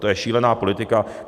To je šílená politika.